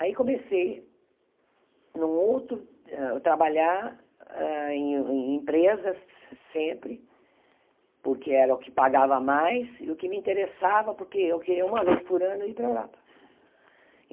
Aí comecei em um outro, a trabalhar hã em empresas se sempre, porque era o que pagava mais e o que me interessava, porque eu queria uma vez por ano ir para a Europa.